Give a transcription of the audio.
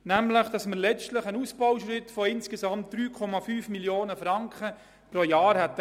Nämlich hatten wir einen Ausbauschritt von insgesamt 3,5 Mio. Franken pro Jahr anvisiert.